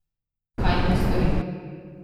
Kaj naj storim?